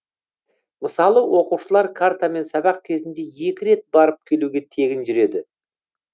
мысалы оқушылар картамен сабақ кезінде екі рет барып келуге тегін жүреді